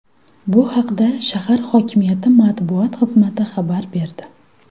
Bu haqda shahar hokimiyati matbuot xizmati xabar berdi .